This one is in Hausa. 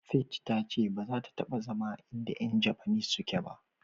faith ta ce baza ta taba zama a in da Yan japanese suke ba.